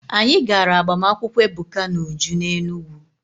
Anyị gara agbamakwụkwọ Ebuka na Uju n'Enugwu.